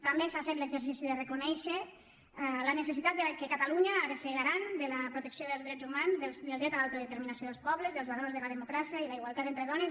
també s’ha fet l’exercici de reconèixer la necessitat que catalunya ha de ser garant de la protecció dels drets humans del dret a l’autodeterminació dels pobles dels valors de la democràcia i la igualtat entre dones